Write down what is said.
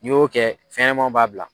N y'o kɛ fɛnɲɛnɛmaw b'a bila.